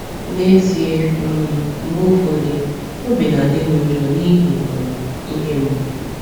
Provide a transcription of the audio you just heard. N'ezie, um mgbe ụfọdụ, obi na-adị m njọ n’ihi um ihe mgbu.